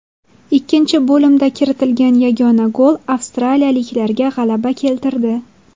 Ikkinchi bo‘limda kiritilgan yagona gol avstriyaliklarga g‘alaba keltirdi.